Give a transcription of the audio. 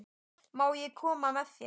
Má ég koma með þér?